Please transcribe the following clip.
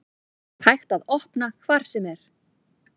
Hægt að opna hvar sem er